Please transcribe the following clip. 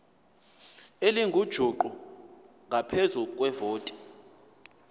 elingujuqu ngaphezu kwevoti